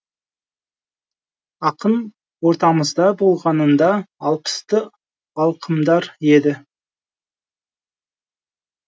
ақын ортамызда болғанында алпысты алқымдар еді